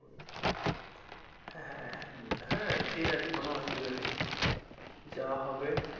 হ্যাঁ হ্যাঁ হ্যাঁ ঠিকাছে কোনো অসুবিধা নেই। যাওয়া হবে